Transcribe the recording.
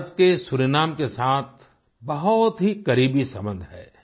भारत के सूरीनाम के साथ बहुत ही करीबी सम्बन्ध हैं